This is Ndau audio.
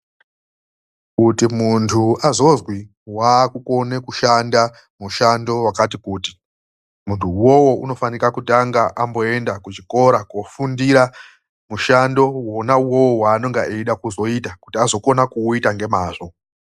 KUTI MUNTU AZOZWI WAAKUKONE KUSHANDA MUSHANDO WAKATI KUTI , MUNTU UWOWO UNOFANA KUTANGA AMBOEMDA KUCHIKORA KOOFUNDIRA MUSHANDO wakona. Afunda unochizopetuka kumakanyi kuti aite mushandowo nemazvo.